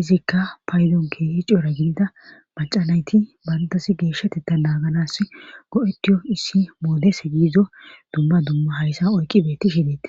izikka paydonkehi cora gidida macanayti bantasi geeshshateta naaganas go7etiyo issi moodese giizo dumma dumma hayssa oyqi beetti shideti